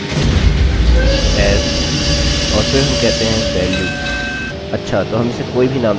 और फिर हम कहते हैं as और फिर हम कहते हैं valueअच्छा तो हम इसे कोई भी नाम दे सकते हैं